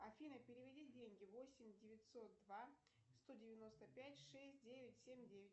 афина переведи деньги восемь девятьсот два сто девяносто пять шесть девять семь девять